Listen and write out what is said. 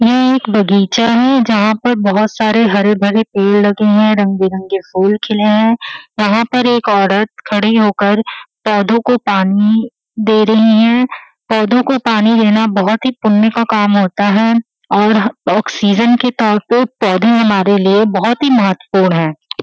ये एक बगीचा है जहाँ पर बहोत सारे हरे भरे पेड़ लगे हैं रंग बिरंगे फूल खिले हैं। यहाँ पर एक औरत खड़ी होकर पौधों को पानी दे रही है। पौधों को पानी देना बहोत ही पुण्य का काम होता है और ऑक्सीजन के तौर पर पौधे हमारे लिए बहोत ही महत्वपूर्ण है।